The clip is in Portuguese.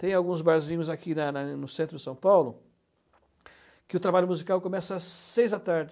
Tem alguns barzinhos aqui na na no centro de São Paulo que o trabalho musical começa às seis da tarde.